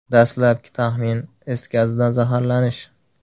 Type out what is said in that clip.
Dastlabki taxmin is gazidan zaharlanish.